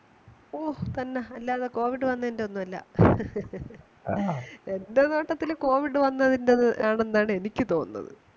ഓ തന്നെ അല്ലാതെ covid വന്നതിന്റെയൊന്നുമല്ല എന്റെ നോട്ടത്തിൽ കോവിഡ് വന്നതിന്റെ യാണെന്നാ എനിക്ക് തോന്നുന്നത്